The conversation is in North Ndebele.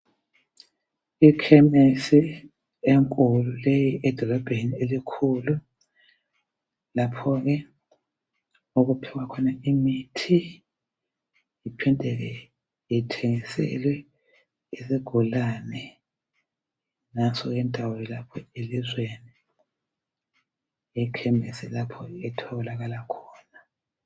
Ikhemesi enkulu leyi edolobheni elikhulu lapho ke okuphiwa khona imithi iphindeke ithengiselwe izigulane nanso ke indawo lapho elizweni ekhemisi lapho etholakala khona.